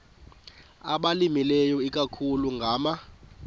abalimileyo ikakhulu ngama